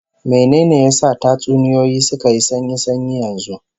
Mene ne ya sa tatsuniyoyi suka yi sanyi sanyi yanzu?